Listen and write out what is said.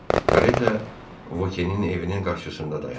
Kareta Vokenin evinin qarşısında dayandı.